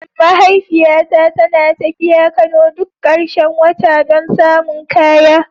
Mahaifiyata tana tafiya Kano duk karshen wata don samun kaya.